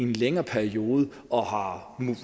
længere periode og har